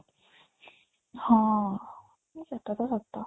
ହଁ ସେଟା ତ ସତ